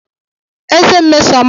Ezé Nmesoma dapuru.